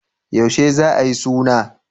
Yaushe za a yi suna?